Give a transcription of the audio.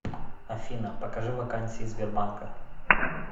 афина покажи вакансии сбербанка